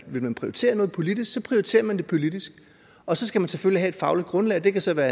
vil man prioritere noget politisk prioriterer man det politisk og så skal man selvfølgelig have et fagligt grundlag og det kan så være